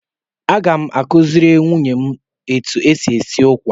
Aga m akụziri nwunye otu esi esi ụkwa.